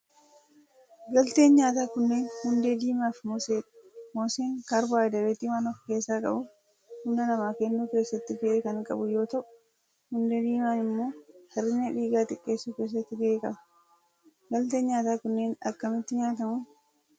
Galteen nyaataa kunneen hundee diimaa fi mooseedha. Mooseen kaarboohayidireetii waan of keessaa qabuuf humna namaa kennuu keessatti gahee kan qabu yoo ta'u hundee diimaan immoo hir'ina dhiigaa xiqqeessuu keessatti gahee qaba. Galteen nyaataa kunneen akkamitti nyaatamu?